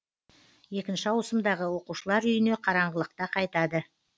екінші ауысымдағы оқушылар үйіне қараңғылықта қайтады